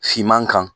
Finman kan